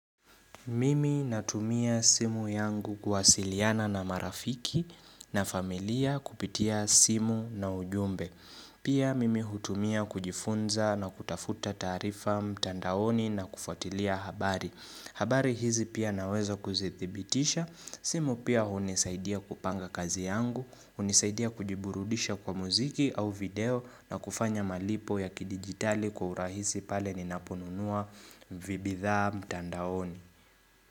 Mimi natumia simu yangu kuwasiliana na marafiki na familia kupitia simu na ujumbe. Pia mimi hutumia kujifunza na kutafuta taarifa mtandaoni na kufuatilia habari. Habari hizi pia naweza kuzithibitisha. Simu pia unisaidia kupanga kazi yangu, unisaidia kujiburudisha kwa muziki au video na kufanya malipo ya kidigitali kwa urahisi pale ninaponunua vibidhaa mtandaoni.